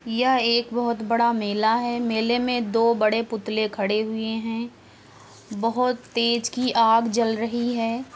यह एक बोहोत बड़ा मेला है। मेले में दो बड़े पुतले खड़े हुए हैं। बहोत तेज़ की आग जल रही हैं।